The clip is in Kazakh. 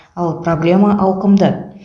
ал проблема ауқымды